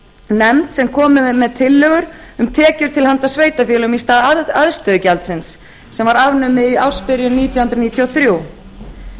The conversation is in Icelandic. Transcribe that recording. nefnd sem komu með tillögur um tekjur til handa sveitarfélögum í stað aðstöðugjaldsins sem var afnumið í ársbyrjun nítján hundruð níutíu og þrjú